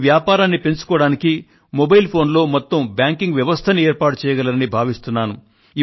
మీ వ్యాపారాన్ని పెంచుకోవడానికి mobile phone లో మొత్తం బ్యాంకింగ్ వ్యవస్థను ఏర్పాటు చేయగలరని భావిస్తున్నాను